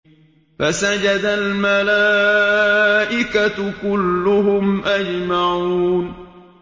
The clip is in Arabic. فَسَجَدَ الْمَلَائِكَةُ كُلُّهُمْ أَجْمَعُونَ